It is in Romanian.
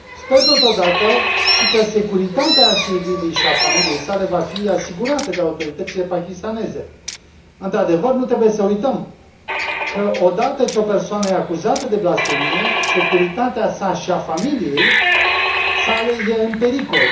Sper totodată și că securitatea Asiei Bibi și a familiei sale va fi asigurată de autoritățile pakistaneze. Într adevăr, nu trebuie să uităm că, odată ce o persoană este acuzată de blasfemie, securitatea sa și a familiei sale este în pericol.